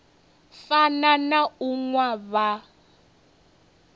fana na u nwa vha